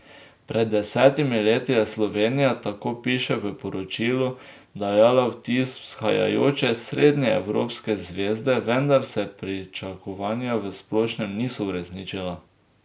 Pred desetimi leti je Slovenija, tako piše v poročilu, dajala vtis vzhajajoče srednjeevropske zvezde, vendar se pričakovanja v splošnem niso uresničila.